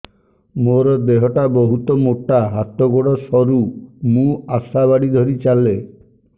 ମୋର ଦେହ ଟା ବହୁତ ମୋଟା ହାତ ଗୋଡ଼ ସରୁ ମୁ ଆଶା ବାଡ଼ି ଧରି ଚାଲେ